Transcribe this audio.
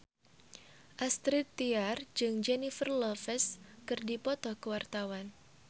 Astrid Tiar jeung Jennifer Lopez keur dipoto ku wartawan